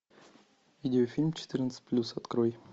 видеофильм четырнадцать плюс открой